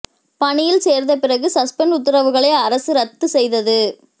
பணியில் சேர்ந்த பிறகு சஸ்பெண்ட் உத்தரவுகளை அரசு ரத்து செய்தது